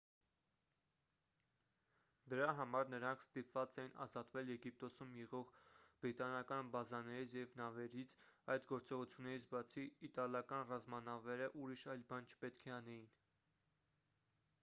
դրա համար նրանք ստիպված էին ազատվել եգիպտոսում եղող բրիտանական բազաներից և նավերից այդ գործողություններից բացի իտալական ռազմանավերը ուրիշ այլ բան չպետք է անեին